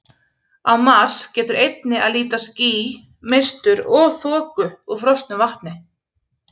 Á Mars getur einnig að líta ský, mistur og þoku úr frosnu vatni.